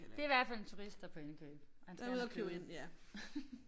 Det i hvert fald en turist der på indkøb og han skal have noget kød